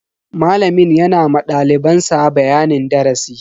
Malamin yana ma daliban sa bayanin darasi.